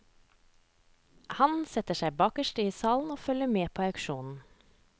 Han setter seg bakerst i salen og følger med på auksjonen.